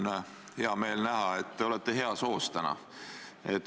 Mul on hea meel näha, et te olete täna heas hoos.